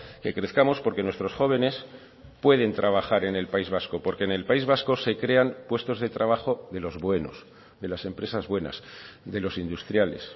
que crezcamos porque nuestros jóvenes pueden trabajar en el país vasco porque en el país vasco se crean puestos de trabajo de los buenos de las empresas buenas de los industriales